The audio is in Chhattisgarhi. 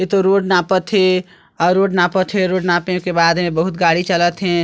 एतो रोड नापा थे और रोड नापा थे रोड नापे के बाद एमा बहुत गाड़ी चलत हे।